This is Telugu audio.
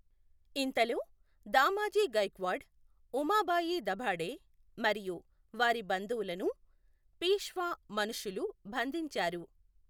ఇంతలో, దామాజీ గైక్వాడ్, ఉమాబాయి దభాడే మరియు వారి బంధువులను పీష్వా మనషులు బంధించారు.